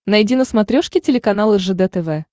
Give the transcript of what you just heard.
найди на смотрешке телеканал ржд тв